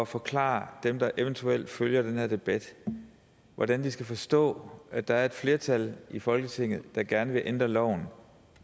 forklare dem der eventuelt følger den her debat hvordan de skal forstå at der er et flertal i folketinget der gerne vil ændre loven